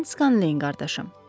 Mən Skalanleyin qardaşım.